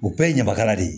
O bɛɛ ye ɲamakala de ye